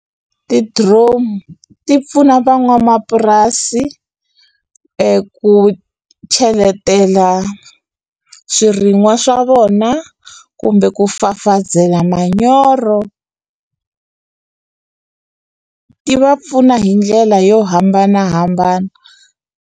Ti-drone ti pfuna van'wamapurasi eku cheletela swirin'wa swa vona kumbe ku fafazela manyoro ti va pfuna hi ndlela yo hambanahambana.